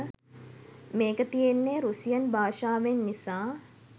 මේක තියෙන්නේ රුසියන් භාෂාවෙන් නිසා